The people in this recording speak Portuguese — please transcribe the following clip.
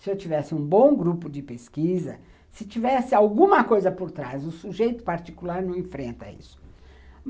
Se eu tivesse um bom grupo de pesquisa, se tivesse alguma coisa por trás, o sujeito particular não enfrenta isso.